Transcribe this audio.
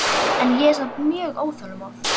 En ég er samt mjög óþolinmóð.